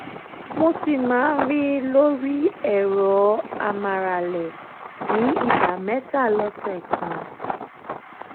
mo si ma n rin lori ero amarale ni igba meta lose kan